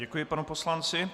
Děkuji panu poslanci.